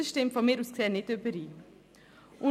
Das stimmt aus meiner Sicht nicht überein.